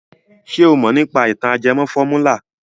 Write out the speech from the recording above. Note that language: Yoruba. Ṣé o mọ̀ nípa ìtàn ajẹmọ fọ́múlà?